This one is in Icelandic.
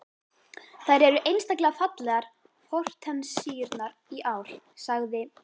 Þær eru einstaklega fallegar hortensíurnar í ár, sagði